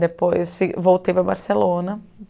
Depois voltei para Barcelona.